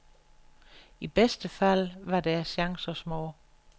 I bedste fald var deres chancer små.